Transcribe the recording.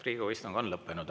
Riigikogu istung on lõppenud.